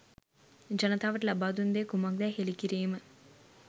ජනතාවට ලබා දුන් දෙය කුමක්දැයි හෙළි කිරීම